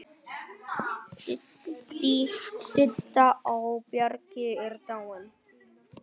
Didda á Bjargi er dáin.